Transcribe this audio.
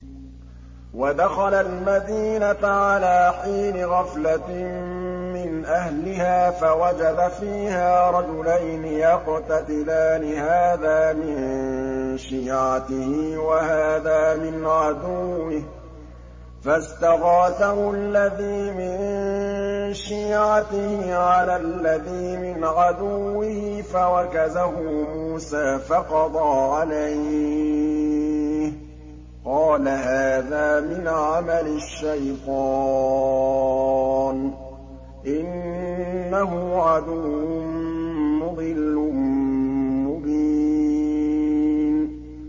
وَدَخَلَ الْمَدِينَةَ عَلَىٰ حِينِ غَفْلَةٍ مِّنْ أَهْلِهَا فَوَجَدَ فِيهَا رَجُلَيْنِ يَقْتَتِلَانِ هَٰذَا مِن شِيعَتِهِ وَهَٰذَا مِنْ عَدُوِّهِ ۖ فَاسْتَغَاثَهُ الَّذِي مِن شِيعَتِهِ عَلَى الَّذِي مِنْ عَدُوِّهِ فَوَكَزَهُ مُوسَىٰ فَقَضَىٰ عَلَيْهِ ۖ قَالَ هَٰذَا مِنْ عَمَلِ الشَّيْطَانِ ۖ إِنَّهُ عَدُوٌّ مُّضِلٌّ مُّبِينٌ